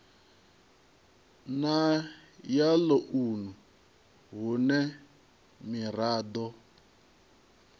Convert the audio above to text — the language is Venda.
na ya ḽounu hune miraḓo